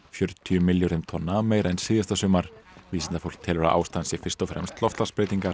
fjörutíu milljörðum tonna meira en síðasta sumar vísindafólk telur að ástæðan sé fyrst og fremst loftslagsbreytingar